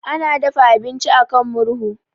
Ana dafa abinci a kan murhu.